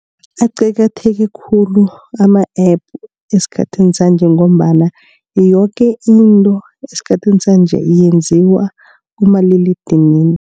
Aqakatheke khulu ama-App esikhathini sanje ngombana yoke into esikhathini sanje yenziwa kumaliledinini.